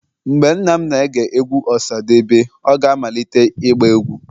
Mgbe nna m na-ege egwu osadebe, ọ ga-amalite ịgba egwu.